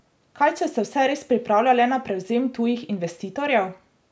Kaj, če se vse res pripravlja le na prevzem tujih investitorjev?